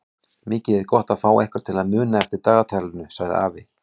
Mikið er gott að fá einhvern til að muna eftir dagatalinu sagði afi.